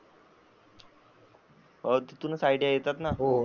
हो तिथूनच आयडिया येतात ना.